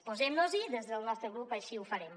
posem nos hi des del nostre grup així ho farem